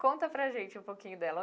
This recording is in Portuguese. Conta para a gente um pouquinho dela.